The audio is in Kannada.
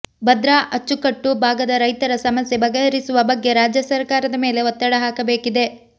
ಭದ್ರಾ ಅಚ್ಚುಕಟ್ಟು ಭಾಗದ ರೈತರ ಸಮಸ್ಯೆ ಬಗೆಹರಿಸುವ ಬಗ್ಗೆ ರಾಜ್ಯ ಸಕಾರದ ಮೇಲೆ ಒತ್ತಡ ಹಾಕಬೇಕಿದೆ